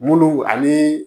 Muluw ani